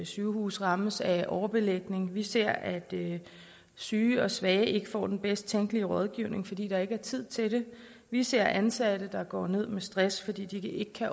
sygehuse rammes af overbelægning vi ser at syge og svage ikke får den bedst tænkelige rådgivning fordi der ikke er tid til det vi ser ansatte der går ned med stress fordi de ikke kan